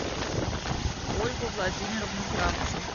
ольгу владимировну кравченко